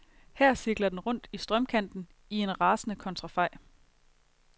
Her cirkler den rundt i strømkanten i en rasende kontrafej.